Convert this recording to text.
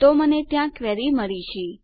તો મને ત્યાં મારી ક્વેરી મળી છે